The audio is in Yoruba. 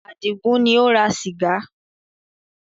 Àdìgún ni ó ra sìgá.